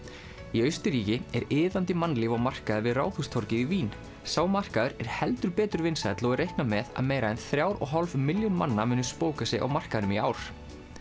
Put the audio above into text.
í Austurríki er iðandi mannlíf á markaði við Ráðhústorgið í Vín sá markaður er heldur betur vinsæll og er reiknað með að yfir meira en þrjár og hálf milljón manna muni spóka sig á markaðnum í ár